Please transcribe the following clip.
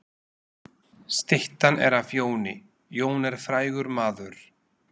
Styttan er af Jóni. Jón er frægur maður.